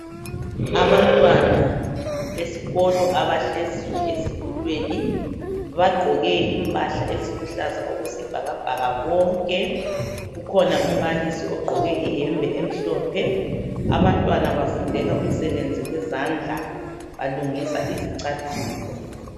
Abantwana besikolo abahleziyo ezitulweni. Bagqoke impahla eziluhlaza okwesibhakabhaka bonke. Kukhona umbalisi ogqoke iyembe emhlophe. Abantwana bafundela umsebenzi wezandla. Balungisa izicathulo.